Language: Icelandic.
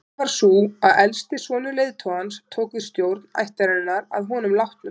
Venjan var sú að elsti sonur leiðtogans tók við stjórn ættarinnar að honum látnum.